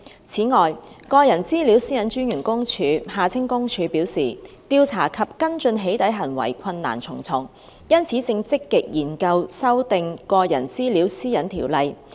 此外，個人資料私隱專員公署表示，調查及跟進起底行為困難重重，因此正積極研究修訂《個人資料條例》。